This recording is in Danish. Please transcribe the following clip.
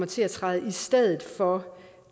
til at træde i stedet for